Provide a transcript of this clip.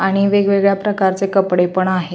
आणि वेगवेगळ्या प्रकारचे कपडे पण आहेत.